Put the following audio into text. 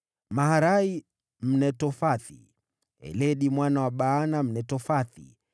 Maharai Mnetofathi, Heledi mwana wa Baana, Mnetofathi,